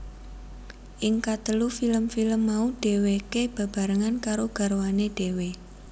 Ing katelu film film mau dhèwèké bebarengan karo garwané dhéwé